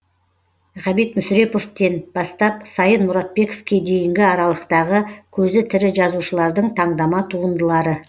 ғабит мүсіреповтен бастап сайын мұратбековке дейінгі аралықтағы көзі тірі жазушылардың таңдама туындылары